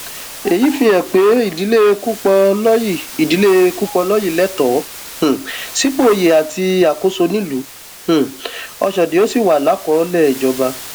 èyí fihàn pé ìdílé kúpọlọyí ìdílé kúpọlọyí lẹtọọ um sípò oyè àti àkóso nílùú um ọṣọdì ó sì wà lákọọlẹ ìjọba